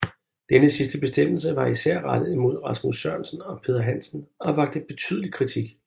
Denne sidste bestemmelse var især rettet imod Rasmus Sørensen og Peder Hansen og vakte betydelig kritik